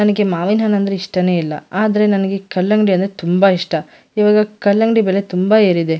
''ನನಗೆ ಮಾವಿನ ಹಣ್ಣು''''ಅಂದ್ರೆ ಇಷ್ಟನೇ ಇಲ್ಲಾ ಆದರೆ ನನಗೆ ಕಲ್ಲಂಗಡಿ ಅಂದ್ರೆ ತುಂಬ ಇಷ್ಟ ಈವಾಗ ಕಲ್ಲಂಗಡಿ ಬೆಲೆ ತುಂಬ ಏರಿದೆ.''